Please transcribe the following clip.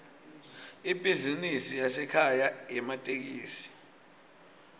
ibhizinisi yasekhaya yematekisi